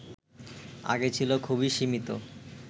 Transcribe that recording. আগে ছিল খুবই সীমিত